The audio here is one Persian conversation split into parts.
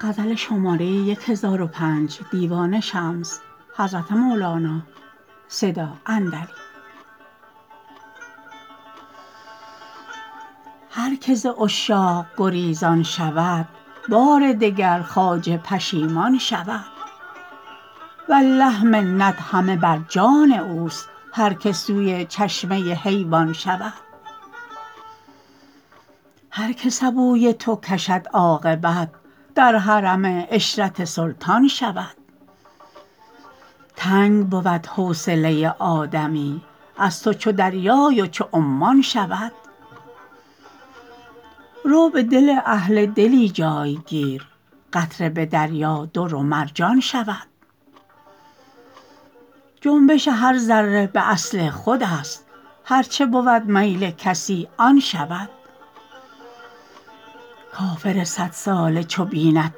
هر که ز عشاق گریزان شود بار دگر خواجه پشیمان شود والله منت همه بر جان اوست هر که سوی چشمه حیوان شود هر که سبوی تو کشد عاقبت در حرم عشرت سلطان شود تنگ بود حوصله آدمی از تو چو دریای و چو عمان شود رو به دل اهل دلی جای گیر قطره به دریا در و مرجان شود جنبش هر ذره به اصل خودست هر چه بود میل کسی آن شود کافر صدساله چو بیند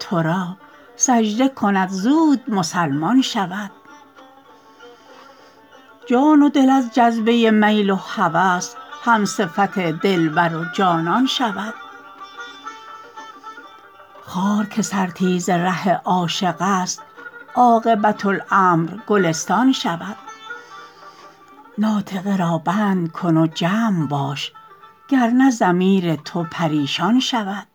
تو را سجده کند زود مسلمان شود جان و دل از جذبه میل و هوس همصفت دلبر و جانان شود خار که سرتیز ره عاشق است عاقبت امر گلستان شود ناطقه را بند کن و جمع باش گر نه ضمیر تو پریشان شود